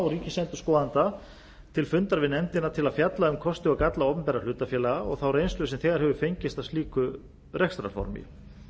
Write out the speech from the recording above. ríkisendurskoðanda til fundar við nefndina til að fjalla um kosti og galla opinberra hlutafélaga og þá reynslu sem þegar hefur fengist af slíku rekstrarformi